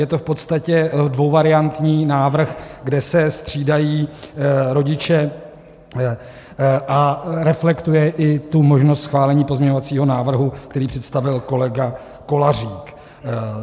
Je to v podstatně dvouvariantní návrh, kde se střídají rodiče, a reflektuje i tu možnost schválení pozměňovacího návrhu, který představil kolega Kolářík.